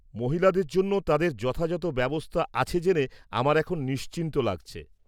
মহিলাদের জন্য তাদের যথাযথ ব্যবস্থা আছে জেনে আমার এখন নিশ্চিন্ত লাগছে।